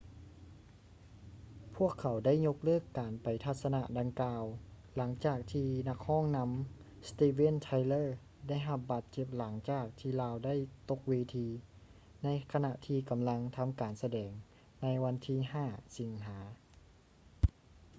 ພວກເຂົາໄດ້ຍົກເລີກການໄປທັດສະນະດັ່ງກ່າວ ຫຼັງຈາກທີ່ນັກຮ້ອງນຳ ສະຕິບເວນ ໄທເລີ steven tylerໄດ້ຮັບບາດເຈັບຫຼັງຈາກທີ່ລາວໄດ້ຕົກເວທີ ໃນຂະນະທີ່ກຳລັງທຳການສະແດງໃນວັນທີ 5 ສິງຫາ